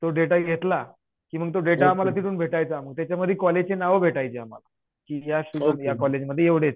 तो डेटा घेतला की मग तो देता आम्हाला तिथून भेटायचा मग त्याच्यामध्ये कॉलेजचे नावं भेटायचे आम्हाला. की या या कॉलेजमध्ये एवढे आहेत.